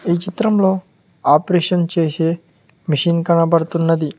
ఈ చిత్రంలో ఆపరేషన్ చేసే మిషిన్ కనపడుతున్నది.